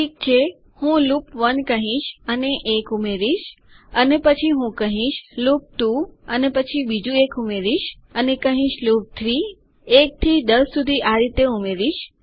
ઠીક છે હું લૂપ 1 કહીશ અને 1 ઉમેરીશ અને પછી હું કહીશ લૂપ 2 અને પછી બીજું 1 ઉમેરીશ અને કહીશ લૂપ 3 1 થી 10 સુધી આ રીતે ઉમેરીશ